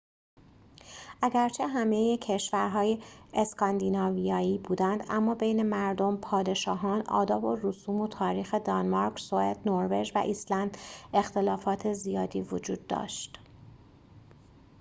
اگرچه همه کشورها اسکاندیناویایی بودند اما بین مردم پادشاهان آداب و رسوم و تاریخ دانمارک سوئد نروژ و ایسلند اختلافات زیادی وجود داشت